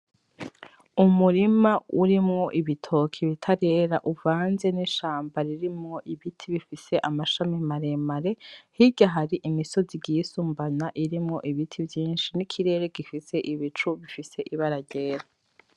Umurima urimwo ibitoke bitarera uvanze n'ishamba ririmwo ibiti bifise amashami maremare, hirya hari imisozi igiye isumbana irimwo ibiti vyinshi n'ikirere gifise ibicu bifise ibara ryera.